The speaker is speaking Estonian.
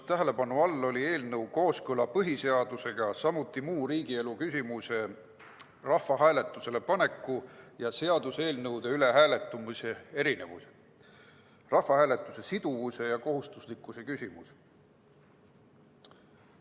Tähelepanu all oli eelnõu kooskõla põhiseadusega, samuti muu riigielu küsimuse rahvahääletusele paneku ja seaduseelnõude üle hääletamise erinevused ning rahvahääletuse siduvuse ja kohustuslikkuse küsimus.